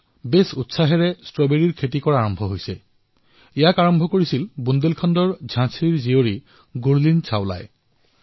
এতিয়া বুন্দেলখণ্ডত ষ্ট্ৰবেৰীকলৈ অনেক উৎসাহ পৰিলক্ষিত হৈছে আৰু ইয়াকলৈ ভূমিকা পালন কৰিছে ঝাঁচীৰ আন এজনী কন্যা গুৰলীন চাওলাই